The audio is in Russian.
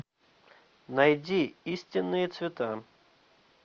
найди истинные цвета